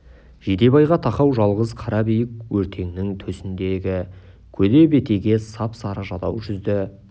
жидебайға тақау жалғыз қара биік өртеңнің төсіндегі көде бетеге сап-сары жадау жүзді